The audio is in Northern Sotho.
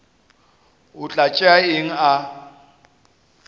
o tla tšea eng a